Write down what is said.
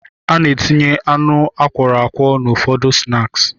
A na-etinye anụ akwọrọ akwọ n'ụfọdụ snaaksi.